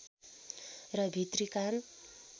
र भित्री कान